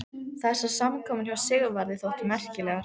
Þessar samkomur hjá Sigvarði þóttu merkilegar.